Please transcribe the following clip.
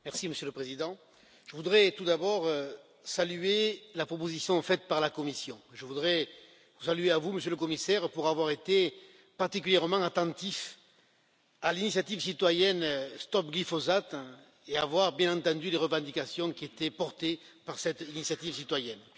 Monsieur le Président, je voudrais tout d'abord saluer la proposition faite par la Commission, je voudrais vous saluer, vous, Monsieur le Commissaire, pour avoir été particulièrement attentif à l'initiative citoyenne Stop glyphosate et avoir bien entendu les revendications qui étaient portées par cette initiative citoyenne.